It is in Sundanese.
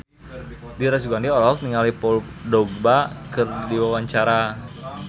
Dira Sugandi olohok ningali Paul Dogba keur diwawancara